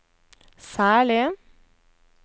særlig